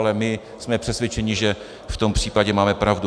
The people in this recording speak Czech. Ale my jsme přesvědčeni, že v tom případě máme pravdu.